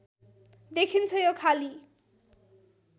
देखिन्छ यो खाली